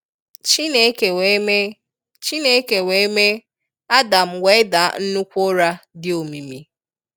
Chineke wee mee Chineke wee mee Adam wee daa nnụkwu ụra di omịmị